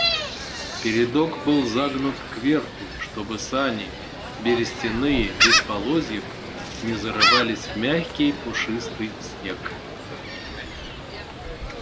передок был загнут кверху чтобы сани берестяные без полозьев не зарывались в мягкий пушистый снег